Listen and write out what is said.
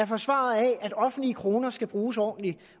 forsvarer at offentlige kroner skal bruges ordentligt